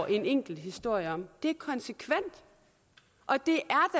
en enkelt historie om det er konsekvent og det